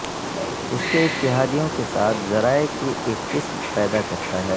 اس کے اتحادیوں کے ساتھ ذرائع کی ایک قسم پیدا کرتا ہے